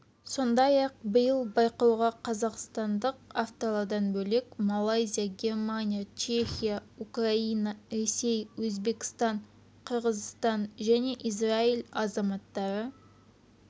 сондай-ақ биыл байқауға қазақстандық авторлардан бөлек малайзия германия чехия украина ресей өзбекстан қырғызстан және израиль азаматтары